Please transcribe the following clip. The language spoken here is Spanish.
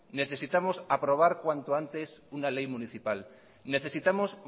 necesitamos aprobar cuanto antes una ley municipal necesitamos